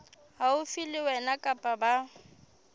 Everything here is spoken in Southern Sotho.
haufi le wena kapa ba